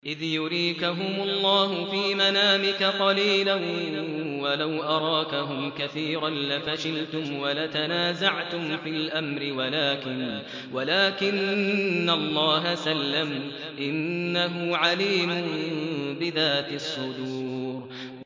إِذْ يُرِيكَهُمُ اللَّهُ فِي مَنَامِكَ قَلِيلًا ۖ وَلَوْ أَرَاكَهُمْ كَثِيرًا لَّفَشِلْتُمْ وَلَتَنَازَعْتُمْ فِي الْأَمْرِ وَلَٰكِنَّ اللَّهَ سَلَّمَ ۗ إِنَّهُ عَلِيمٌ بِذَاتِ الصُّدُورِ